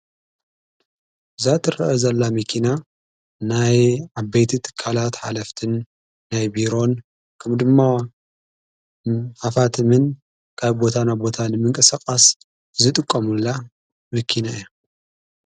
ብዛት ርአ ዘላ ሚኪና ናይ ኣበይቲ እትካላት ኃለፍትን ናይ ቢሮን ከም ድማ ሃፋትምን ካብ ቦታና ቦታን ምንቀ ሰቓስ ዝጥቆሙላ መኪና እያ።